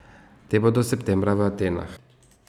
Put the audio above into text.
Te bodo septembra v Atenah.